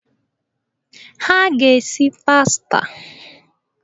Ha ga-esi pasta.